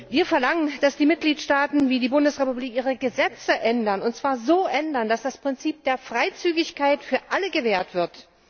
Wir verlangen, dass die Mitgliedstaaten wie die Bundesrepublik Deutschland ihre Gesetze ändern, und zwar so ändern, dass das Prinzip der Freizügigkeit für alle gewährt wird.